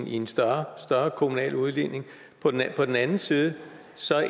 i en større kommunal udligning men på den anden side